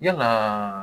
Yalaa